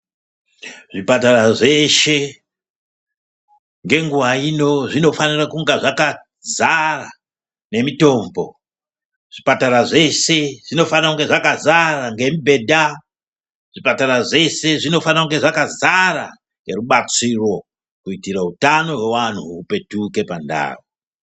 Zvipatara zveshe ngenguwa ino zvinofanura kunga zvakazara nekumitombo zvipatara zveshe zvinofanura kunge zvakazara nemibhedha zvipatara zveshe zvinofana kunge zvakazara nerubatsiro kuitira hutano hwevantu hupetuke pandau.